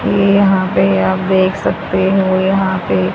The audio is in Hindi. ये यहां पे आप देख सकते हो यहां पे--